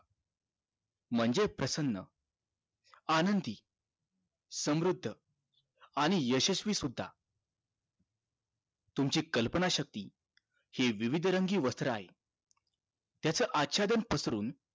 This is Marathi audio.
म्हणजे प्रसन्न आनंदी समृद्ध आणि यशस्वी सुद्धा तुमची कल्पना शक्ती हे विविध रंगी वस्त्र आहे त्याच आच्छादन पसरून